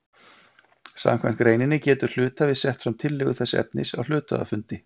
Samkvæmt greininni getur hluthafi sett fram tillögu þessa efnis á hluthafafundi.